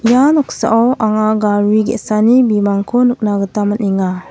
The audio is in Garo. ia noksao anga gari ge·sani bimangko nikna gita man·enga.